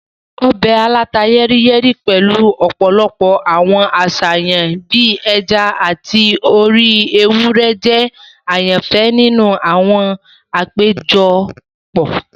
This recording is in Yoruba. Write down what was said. Ọbẹ̀ aláta-yẹ́ríyẹ́rí pẹ̀lu ọ̀pọ̀lọpọ̀ àwọn àṣàyàn bii ẹja ati orí ewúrẹ́ jẹ àyànfẹ́ ni àwọn àpéjọpọ̀.